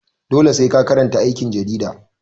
Dole sai ka karanta aikin jarida.